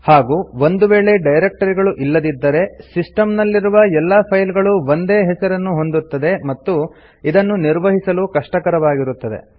ಹಾಗೂ ಒಂದು ವೇಳೆ ಡೈರೆಕ್ಟರಿಗಳು ಇಲ್ಲದಿದ್ದರೆ ಸಿಸ್ಟಮ್ ನಲ್ಲಿರುವ ಎಲ್ಲಾ ಫೈಲ್ ಗಳು ಒಂದೇ ಹೆಸರನ್ನು ಹೊಂದುತ್ತದೆ ಮತ್ತು ಇದನ್ನು ನಿರ್ವಹಿಸಲು ಕಷ್ಟಕರವಾಗಿರುತ್ತದೆ